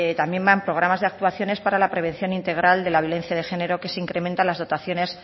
también va en programas de actuaciones para la prevención integral de la violencia de género que se incrementan las dotaciones